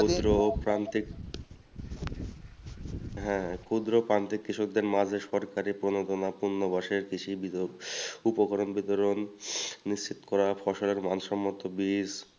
ও ক্ষুদ্র প্রান্তিক হ্যাঁ ক্ষুদ্র প্রান্তিক কৃষকদের মাঝে সরকার উপকরণ বিতরণ নিশ্চিত করা ফসলের মানসম্মত বীজ